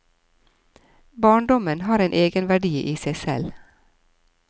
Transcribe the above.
Barndommen har en egenverdi i seg selv.